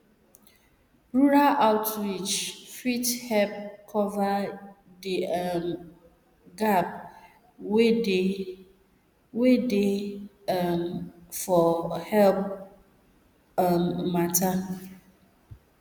rural outreach fit help cover the um gap wey dey wey dey um for health um matter